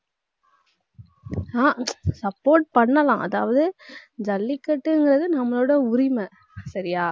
ஆஹ் support பண்ணலாம். அதாவது, ஜல்லிக்கட்டுங்கறது நம்மளோட உரிமை சரியா